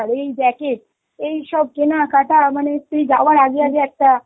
এই jacket, সব কেনাকাটা মানে তুই যাওয়ার আগে আগে একটা